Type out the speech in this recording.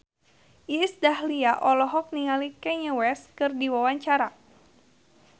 Iis Dahlia olohok ningali Kanye West keur diwawancara